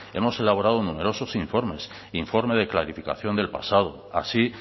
hemos elaborado numerosos informes informe de clarificación del pasado así